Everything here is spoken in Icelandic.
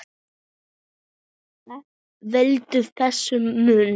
Hvað veldur þessum mun?